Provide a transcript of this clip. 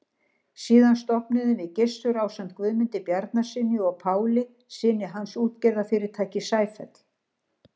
Síðan stofnuðum við Gissur, ásamt Guðmundi Bjarnasyni og Páli, syni hans, útgerðarfyrirtækið Sæfell.